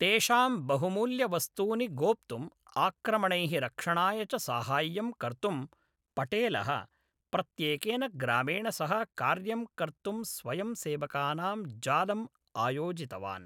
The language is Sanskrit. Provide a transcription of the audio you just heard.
तेषां बहुमूल्यवस्तूनि गोप्तुम्, आक्रमणैः रक्षणाय च साहाय्यम् कर्तुं, पटेलः, प्रत्येकेन ग्रामेण सह कार्यं कर्तुं स्वयंसेवकानां जालम् आयोजितवान्।